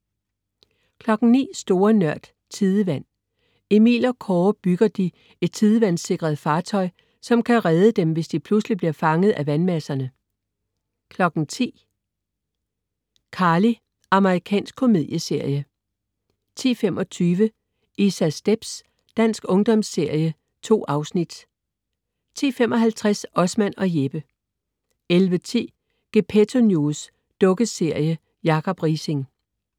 09.00 Store Nørd. Tidevand. Emil og Kåre bygger de et tidevandssikret fartøj, som kan redde dem, hvis de pludselig bliver fanget af vandmasserne! 10.00 ICarly. Amerikansk komedieserie 10.25 Isas stepz. Dansk ungdomsserie. 2 afsnit 10.55 Osman og Jeppe 11.10 Gepetto News. Dukkeserie. Jacob Riising